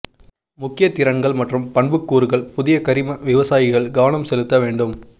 முக்கிய திறன்கள் மற்றும் பண்புக்கூறுகள் புதிய கரிம விவசாயிகள் கவனம் செலுத்த வேண்டும்